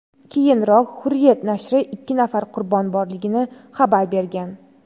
Keyinroq Hurriyet nashri ikki nafar qurbon borligini xabar bergan.